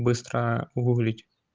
быстро гуглить